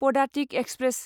Padatik express